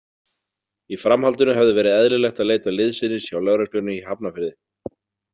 Í framhaldinu hefði verið eðlilegt að leita liðsinnis hjá lögreglunni í Hafnarfirði.